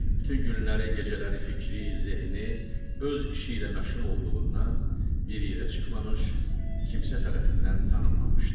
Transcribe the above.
Bütün günləri, gecələri, fikri, zehni öz işi ilə məşğul olduğundan bir yerə çıxmamış, kimsə tərəfindən tanınmamışdı.